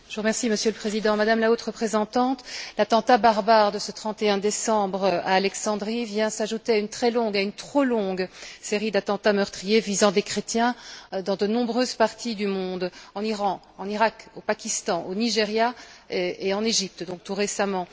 Monsieur le Président, Madame la Haute représentante, l'attentat barbare de ce 31 décembre à Alexandrie vient s'ajouter à une trop longue série d'attentats meurtriers visant des chrétiens dans de nombreuses parties du monde en Iran, en Irak, au Pakistan, au Nigeria et en Égypte, tout récemment.